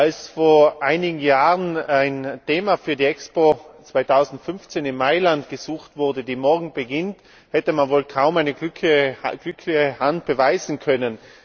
Als vor einigen Jahren ein Thema für die Expo 2015 in Mailand gesucht wurde, die morgen beginnt, hätte man wohl kaum eine glücklichere Hand beweisen können.